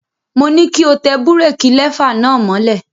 Mo ní kí o tẹ búrékí lẹfà náà mọ́lẹ̀.